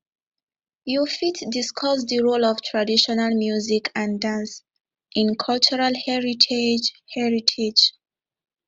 you fit discuss di role of traditional music and dance in cultural heritage heritage